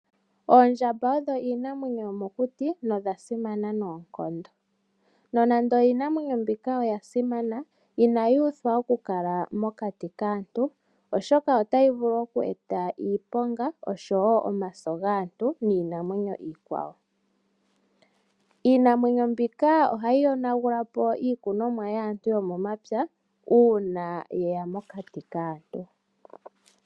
Oondjamba odho iinamwenyo yomokuti nodha simana noonkondo. Nonando iinamwenyo mbika oya simana inayi uthwa oku kala mokati kaantu oshoka otayi vulu oku eta iiponga oshowo omaso gaantu niinamwenyo iikwawo. Iinamwenyo mbika ohayi yonagulapo iikunonwa yaantu yomomapya una yeya mokati kaaantu.